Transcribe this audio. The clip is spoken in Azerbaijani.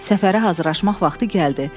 Səfərə hazırlaşmaq vaxtı gəldi.